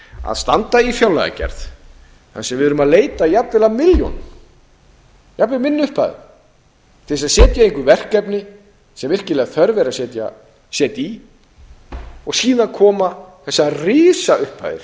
að standa í fjárlagagerð þar sem við erum að leita jafnvel að milljónum jafnvel minni upphæðum til þess að setja í einhver verkefni sem virkilega þörf er að setja í og síðan koma þessar risaupphæðir